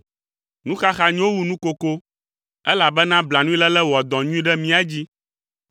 Nuxaxa nyo wu nukoko elabena blanuiléle wɔa dɔ nyui ɖe mía dzi.